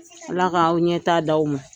Ala ka ɲɛta di aw ma.